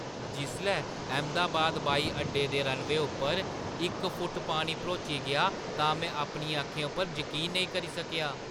जिसलै अहमदाबाद ब्हाई अड्डे दे रनवेऽ उप्पर इक फुट्ट पानी भरोची गेआ तां में अपनी अक्खें उप्पर जकीन नेईं करी सकेआ।